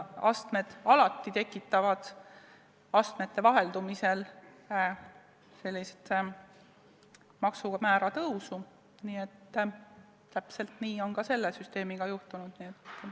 Astmed tekitavad astmete vaheldumisel alati maksumäära tõusu ja täpselt nii on ka selle süsteemiga juhtunud.